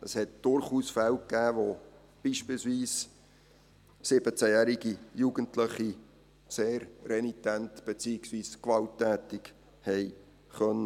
Es gab durchaus Fälle, wo beispielsweise 17-jährige Jugendliche sehr renitent beziehungsweise gewalttätig sein konnten.